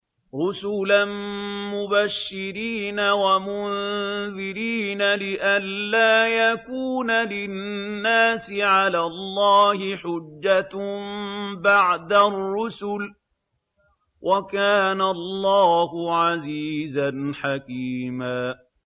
رُّسُلًا مُّبَشِّرِينَ وَمُنذِرِينَ لِئَلَّا يَكُونَ لِلنَّاسِ عَلَى اللَّهِ حُجَّةٌ بَعْدَ الرُّسُلِ ۚ وَكَانَ اللَّهُ عَزِيزًا حَكِيمًا